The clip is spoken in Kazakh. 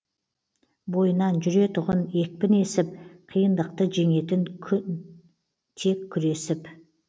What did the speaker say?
бойынан жүретұғын екпін есіп қиындықты жеңетін тек күресіп